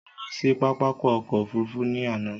Mo lọ sí pápákọ̀ ọkọ̀ òfurufú ní àná